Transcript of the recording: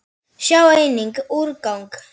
Sjá einnig: úrgang